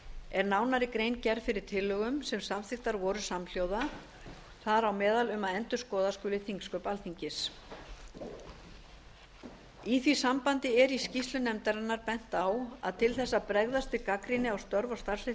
er nánari grein gerð fyrir tillögum sem samþykktar voru samhljóða þar á meðal um að endurskoða skuli þingsköp alþingis í því sambandi er í skýrslu nefndarinnar bent á að til þess að bregðast við gagnrýni á störf og starfshætti